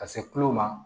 Ka se kulo ma